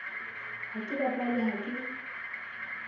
ha ke bapale ha ke